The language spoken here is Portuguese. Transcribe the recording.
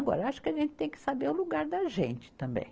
Agora, acho que a gente tem que saber o lugar da gente também.